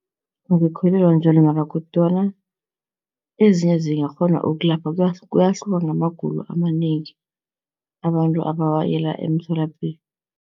Angikholelwa njalo mara kodwana ezinye zingakghona ukulapha, kuyahluka ngamagulo amanengi abantu abawayela emtholapilo.